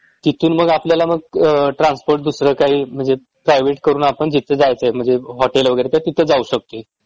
तिथून मग आपल्याला मग ट्रान्सपोर्ट दुसरं काही म्हंजे प्रायवेट करून आपण जिथं जायचंय म्हंजे हॉटेल वगैरे तर तिथं जाऊ शकतोय